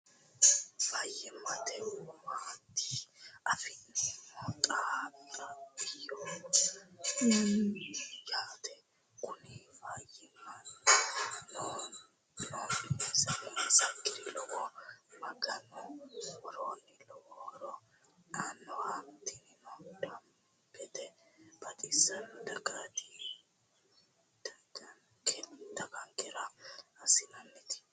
Fayimatte owannitte affinnemo Xena xabiyaho yaate Kunino fayimma noonisakirira lowo maganu worroni lowo horo annaho. tinino damibete baxxisanote daganikera asinnanitti